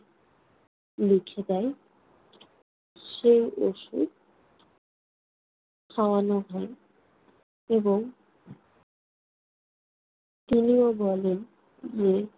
লিখে দেন। সে ঔষধ খাওয়ানো হলো এবং তিনি ও বলেন যে,